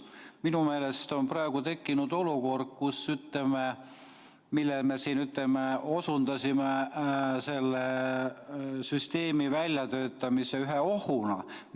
Minu meelest on praegu tekkinud olukord, millele me siin osutasime selle süsteemi väljatöötamise ühe ohuna.